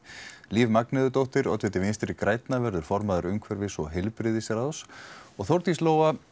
Líf oddviti vinstri grænna verður formaður umhverfis og heilbrigðisráðs og Þórdís Lóa